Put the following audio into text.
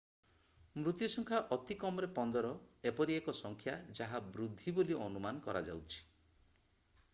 ମୃତ୍ୟୁ ସଂଖ୍ୟା ଅତି କମରେ 15 ଏପରି ଏକ ସଂଖ୍ୟା ଯାହା ବୃଦ୍ଧି ବୋଲି ଅନୁମାନ କରାଯାଉଛି